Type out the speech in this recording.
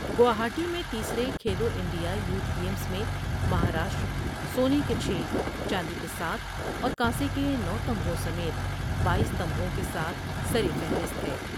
گواہائی میں تیسرے Khelo India youth games میں مہاراشٹر سونے کے چھ ، چاندی کے ساتھ اور کانسے کے نو تمغوں سمیت باییس تمغوں کے ساتھ سرفہرست ہے